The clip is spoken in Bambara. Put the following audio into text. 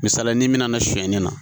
Misalila n'i mina na sonya nin na